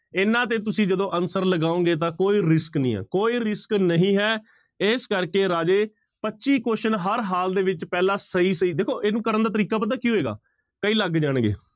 ਇਹਨਾਂ ਤੇ ਤੁਸੀਂ ਜਦੋਂ answer ਲਗਾਓਗੇ ਤਾਂ ਕੋਈ risk ਨੀ ਆਂ ਕੋਈ risk ਨਹੀਂ ਹੈ, ਇਸ ਕਰਕੇ ਰਾਜੇ ਪੱਚੀ question ਹਰ ਹਾਲ ਦੇ ਵਿੱਚ ਪਹਿਲਾਂ ਸਹੀ ਸਹੀ, ਦੇਖੋ ਇਸਨੂੰ ਕਰਨ ਦਾ ਤਰੀਕਾ ਪਤਾ ਕੀ ਹੋਏਗਾ ਕਈ ਲੱਗ ਜਾਣਗੇ